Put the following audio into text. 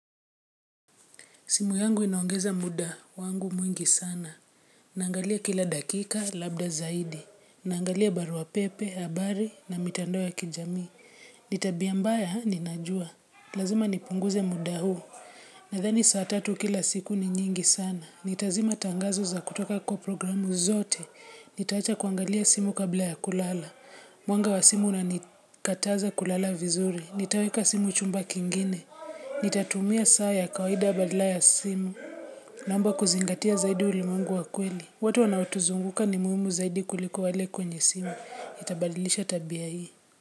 Simu yangu inaongeza muda wangu mwingi sana. Naangalia kila dakika, labda zaidi. Naangalia barua pepe, habari na mitandao ya kijamii. Nitabia mbaya ninajua. Lazima nipunguze muda huu. Nadhani saa tatu kila siku ni nyingi sana. Nitazima tangazo za kutoka kwa programu zote. Nitaacha kuangalia simu kabla ya kulala. Mwanga wa simu una nikataza kulala vizuri. Nitaweka simu chumba kingine. Nitatumia saa ya kawaida badala ya simu Naomba kuzingatia zaidi ulimwengu wa kweli watu wanaotuzunguka ni muhimu zaidi kuliko wale kwenye simu nitabadilisha tabia hii.